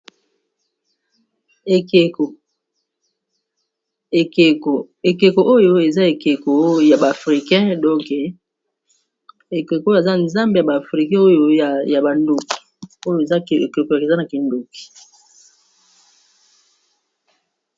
Ekeko oyo eza ekeko ya ba africain donke ekeko oyo eza nzambe ya ba africain oyo ya ba ndoki oyo eza ke ekeko eza na kindoki.